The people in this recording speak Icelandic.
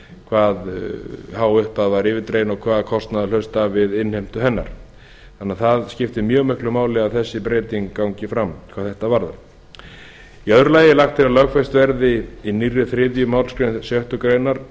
hvað há upphæð var yfirdregin og hvaða kostnaður hlaust af við innheimtu hennar þannig að skiptir mjög mikli máli að þessi breyting gangi fram hvað þetta varðar í öðru lagi er lagt til að lögfest verði í nýrri þriðju málsgrein sjöttu grein